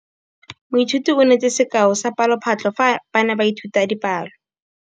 Moithuti o neetse sekaô sa palophatlo fa ba ne ba ithuta dipalo.